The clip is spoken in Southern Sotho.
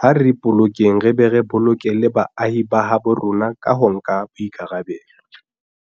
ha re ipolokeng re be re boloke le baahi ba habo rona ka ho nka boikarabelo.